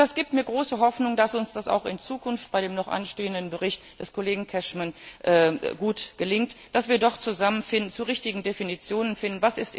Das gibt mir große Hoffnung, dass uns das auch in Zukunft bei dem noch anstehenden Bericht des Kollegen Cashman gut gelingen wird, dass wir doch zusammenfinden, zu richtigen Definitionen finden werden.